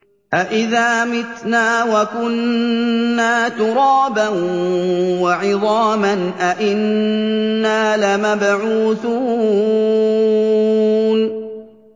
أَإِذَا مِتْنَا وَكُنَّا تُرَابًا وَعِظَامًا أَإِنَّا لَمَبْعُوثُونَ